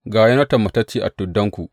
Ga Yonatan matacce a tuddanku.